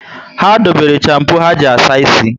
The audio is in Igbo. Ha dobere champo ha ji asa ísì